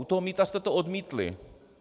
U toho mýta jste to odmítli.